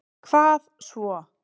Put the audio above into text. Hvað svo.